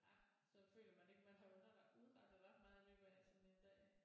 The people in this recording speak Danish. Ja så føler man ikke man har under underlagt udrettet ret meget i løbet af sådan en dag